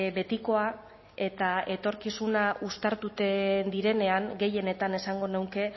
betikoa eta etorkizuna uztartuten direnean gehienetan esango nuke